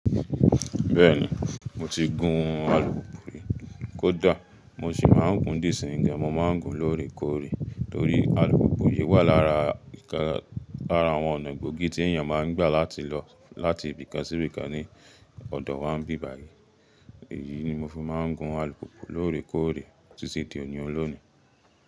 Bẹ́ẹ̀ni, mo ti gun alùpùpù rí kódà mo sì máa ń gun dí isin yii gan, mo máa ń gun lóòrèkóòrè torí alùpùpù yí wà lára àwọn ọ̀nà gbòógì tí èèyàn máa ń gbà láti lọ láti ibìkan sí ibìkan ní ọ̀dọ̀ wá ń bíbàyí. Èyí ni mo fi máa ń gun alùpùpù lóòrèkóòrè títí di òní ọlọ́ni.